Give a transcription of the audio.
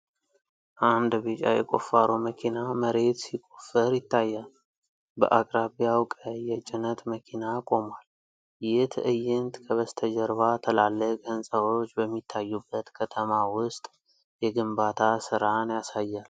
አንድ ቢጫ የቁፋሮ መኪና መሬት ሲቆፍር ይታያል። በአቅራቢያው ቀይ የጭነት መኪና ቆሟል። ይህ ትዕይንት ከበስተጀርባ ትላልቅ ሕንፃዎች በሚታዩበት ከተማ ውስጥ የ ግንባታ ሥራን ያሳያል።